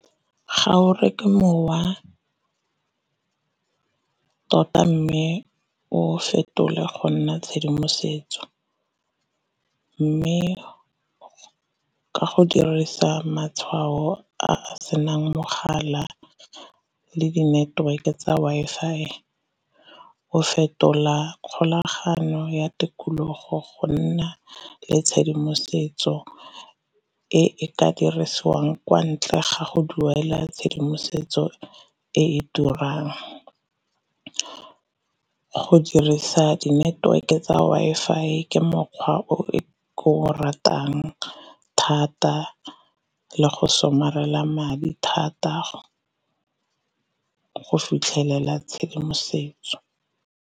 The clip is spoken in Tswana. Ga o reke mowa tota mme o fetole go nna tshedimosetso, mme ka go dirisa matshwao a senang mogala, le di-network e tsa Wi-Fi. O fetola kgolagano ya tikologo go nna le tshedimosetso e e ka dirisiwang kwa ntle ga go duela tshedimosetso e e turang. Go dirisa di-network e tsa Wi-Fi ke mokgwa o ke ratang thata le go somarela madi thata go fitlhelela tshedimosetso.